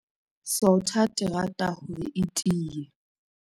Sotha terata hore e tiye.